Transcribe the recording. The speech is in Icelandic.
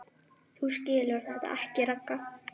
Þú skilur þetta ekki, Ragga.